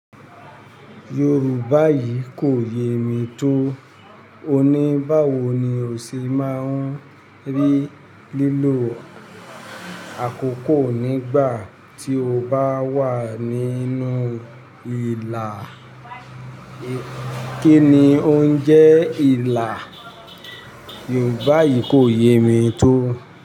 Yorùbá yìí kò yé mi tó. Òní báwo ni ó ṣe máa ń rí lílo àkókò nígbà tí o bá wà nínú ìlà? Kí ni o ń jẹ ìlà? Yorùbá yìí kò yé mi tó.